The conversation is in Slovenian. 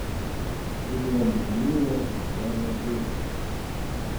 In je minljivo in skrajno bežno.